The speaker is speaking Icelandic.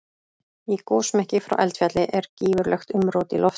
Í gosmekki frá eldfjalli er gífurlegt umrót í loftinu.